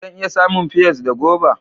Zan iya samun pears da goba